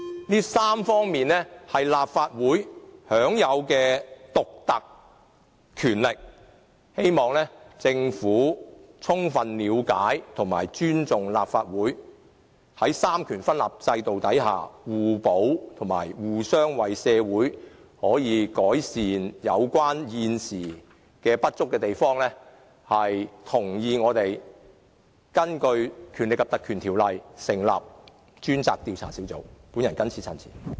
這3方面是立法會享有的獨特權力，希望政府充分了解和尊重立法會，在三權分立制度下互補，以及互相為社會改善現時的不足之處，同意立法會根據《權力及特權條例》成立專責委員會，進行調查。